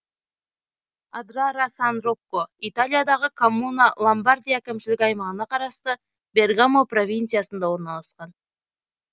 адрара сан рокко италиядағы коммуна ломбардия әкімшілік аймағына қарасты бергамо провинциясында орналасқан